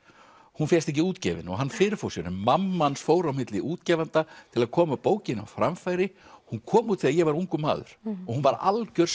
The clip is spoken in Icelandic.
hún fékkst ekki útgefin og hann fyrirfór sér en mamma hans fór á milli útgefenda til að koma bókinni á framfæri hún kom út þegar ég var ungur maður og var algjör